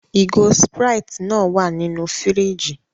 Ìgò Sprite náà wà nínú fíríjì.